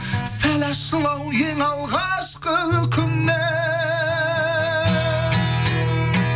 сәл ащылау ең алғашқы үкімнен